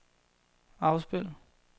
afspil